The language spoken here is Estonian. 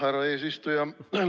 Härra eesistuja!